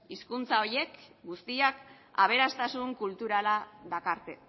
hizkuntza horiek guztiak aberastasun kulturala dakarte